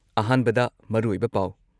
ꯑꯍꯥꯟꯕꯗ ꯃꯔꯨꯑꯣꯏꯕ ꯄꯥꯎ